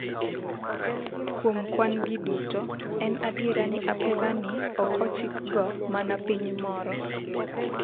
kuom kwan gi duto en adier ni apedhani ok ochikgo mana piny moro ,